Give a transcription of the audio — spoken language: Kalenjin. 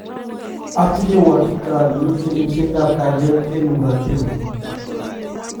Atinye uhakika ale mitei ripset ap kaliet eng muratina